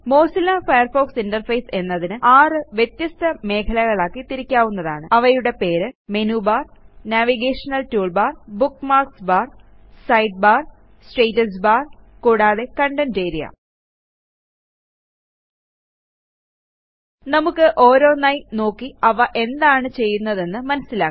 Mozilla Firefox interface എന്നതിനെ 6 വ്യത്യസ്ത മേഖലകളാക്കി തിരിക്കാവുന്നതാണ് അവയുടെ പേര് menu bar navigation toolbar bookmarks bar side bar status bar കൂടാതെ കണ്ടെന്റ് ആരിയ നമുക്ക് ഓരോന്നായി നോക്കി അവ എന്താണ് ചെയ്യുന്നതെന്ന് മനസ്സിലാക്കാം